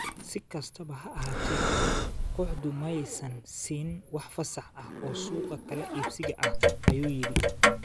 Si kastaba ha ahaatee, kooxdu ma aysan siin wax fasax ah oo suuqa kala iibsiga ah, ayuu yidhi.